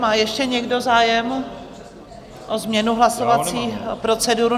Má ještě někdo zájem o změnu hlasovací procedury?